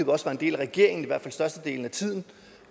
også var en del af regeringen i hvert fald i størstedelen af tiden